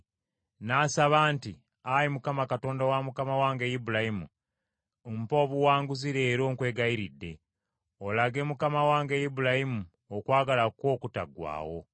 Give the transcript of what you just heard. N’asaba nti, “Ayi Mukama Katonda wa mukama wange Ibulayimu mpa obuwanguzi leero nkwegayiridde, olage mukama wange Ibulayimu okwagala kwo okutaggwaawo.